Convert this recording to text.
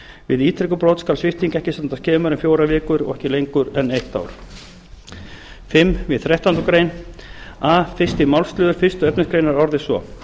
við ítrekuð brot skal svipting ekki standa skemur en fjórar vikur og ekki lengur en eitt ár fimmta við þrettándu grein a fyrsta málsl fyrstu efnismgr orðist svo